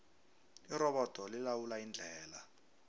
irobodo lilawula indlela